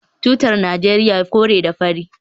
Tutar Najeriya kore da fari